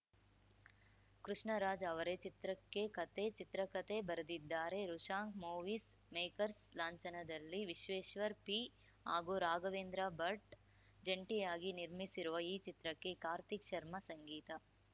ಕೃಷ್ಣ ರಾಜ್‌ ಅವರೇ ಚಿತ್ರಕ್ಕೆ ಕಥೆ ಚಿತ್ರಕಥೆ ಬರೆದಿದ್ದಾರೆ ವೃಷಾಂಕ್‌ ಮೂವೀಸ್‌ ಮೇಕರ್ಸ್‌ ಲಾಂಛನದಲ್ಲಿ ವಿಶ್ವೇಶ್ವರ್‌ ಪಿ ಹಾಗೂ ರಾಘವೇಂದ್ರ ಭಟ್‌ ಜಂಟಿಯಾಗಿ ನಿರ್ಮಿಸಿರುವ ಈ ಚಿತ್ರಕ್ಕೆ ಕಾರ್ತಿಕ್‌ ಶರ್ಮ ಸಂಗೀತ